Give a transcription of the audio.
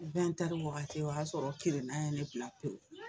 wagati o y'a sɔrɔ kirinnan ye ne bila pewu